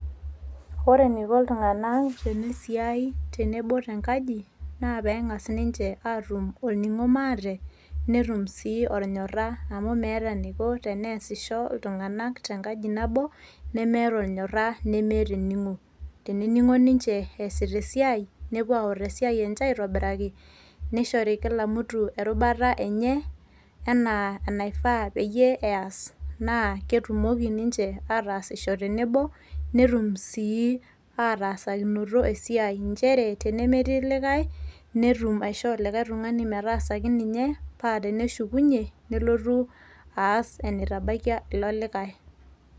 Ore eniko iltung'anak tenisiai tenebo tenkaji, na peng'as ninche atum olning'o maate netum si olnyorra. Amu meeta eniko teneesisho iltung'anak tenkaji nabo nemeeta olnyorra nemeeta ening'o. Tenening'o ninche eesita esiai, nepuo aor esiai enje aitobiraki nishori kila mtu erubata enye enaa enaifaa peyiee eas. Na ketumoki ninche ataasisho tenebo, netum sii ataasakinoto esiai njere tenemetii likae, netum aishoo likae tung'ani metaasaki ninye pa teneshukunye nelotu aas enitabaikia ilo likae.